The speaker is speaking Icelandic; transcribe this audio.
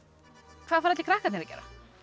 hvað færu allir krakkarnir að gera